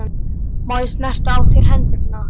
Má ég snerta á þér hendurnar?